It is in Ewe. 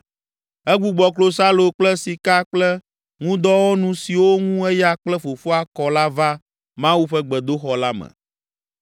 Egbugbɔ klosalo kple sika kple ŋudɔwɔnu siwo ŋu eya kple fofoa kɔ la va Mawu ƒe gbedoxɔ la me.